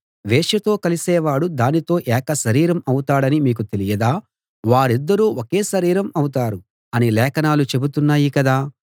వేశ్యతో కలిసేవాడు దానితో ఏక శరీరం అవుతాడని మీకు తెలియదా వారిద్దరూ ఒకే శరీరం అవుతారు అని లేఖనాలు చెబుతున్నాయి కదా